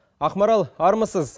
ақмарал армысыз